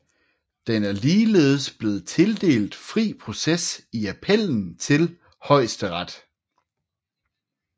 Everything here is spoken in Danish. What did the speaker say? Den er ligeledes blevet tildelt fri proces i appellen til Højesteret